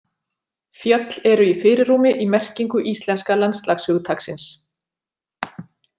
Fjöll eru í fyrirrúmi í merkingu íslenska landslagshugtaksins.